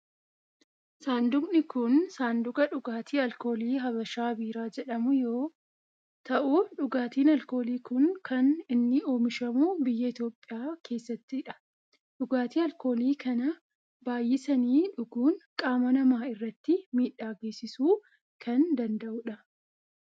Saanduuqni kun saanduqa dhugaaatii alkoolii habashaa biiraa jedhamuu yoo ta'u dhugaatiin alkoolii kun kan inni oomishamu biyya Itiyoophiyaa keessattidha. dhugaatii alkoolii kana baayyisanii dhuguun qaama namaa irratti miidhaa geessisuu kan danda'udha.